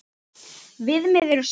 Viðmið eru sett.